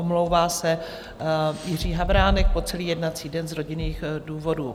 Omlouvá se Jiří Havránek po celý jednací den z rodinných důvodů.